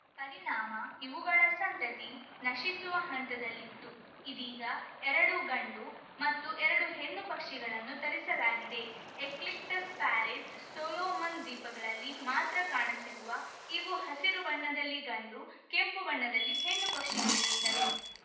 ಪರಿಣಾಮ ಇವುಗಳ ಸಂತತಿ ನಶಿಸುವ ಹಂತದಲ್ಲಿತ್ತು ಇದೀಗ ಎರಡು ಗಂಡು ಮತ್ತು ಎರಡು ಹೆಣ್ಣು ಪಕ್ಷಿಗಳನ್ನು ತರಿಸಲಾಗಿದೆ ಎಕ್ಲಿಕ್ಟಸ್‌ ಪ್ಯಾರೆಟ್‌ ಸೋಲೋಮನ್‌ ದ್ವೀಪಗಳಲ್ಲಿ ಮಾತ್ರ ಕಾಣಸಿಗುವ ಇವು ಹಸಿರು ಬಣ್ಣದಲ್ಲಿ ಗಂಡು ಕೆಂಪು ಬಣ್ಣದಲ್ಲಿ ಹೆಣ್ಣು ಪಕ್ಷಿಗಳಿರುತ್ತವೆ